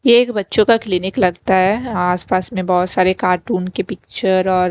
ये एक बच्चों का क्लीनिक लगता है आसपास में बहुत सारे कार्टून के पिक्चर और--